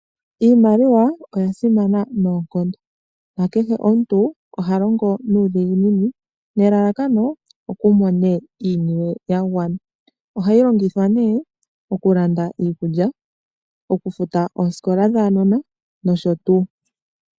Iimaliwa oya simana noonkondo. Nakehe omuntu oha longo nuudhiginini , nelallakano oku mone iiniwe ya gwana. Oha yi longithwa nee, oku landa iikulya, oku futa oosikola dhaanona, nsh.